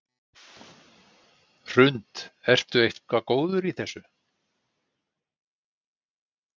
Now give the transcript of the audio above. Hrund: Ertu eitthvað góður í þessu?